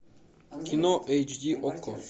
кино эйч ди окко